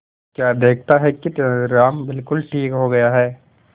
तो क्या देखता है कि तेनालीराम बिल्कुल ठीक हो गया है